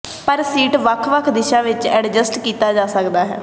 ਪਰ ਸੀਟ ਵੱਖ ਵੱਖ ਦਿਸ਼ਾ ਵਿੱਚ ਐਡਜਸਟ ਕੀਤਾ ਜਾ ਸਕਦਾ ਹੈ